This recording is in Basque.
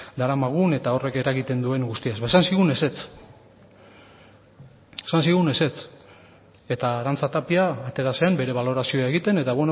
daramagun eta horrek eragiten duen guztiaz ba esan zigun ezetz esan zigun ezetz eta arantza tapia atera zen bere balorazioa egiten eta